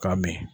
K'a min